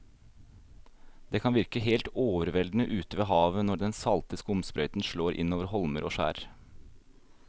Det kan virke helt overveldende ute ved havet når den salte skumsprøyten slår innover holmer og skjær.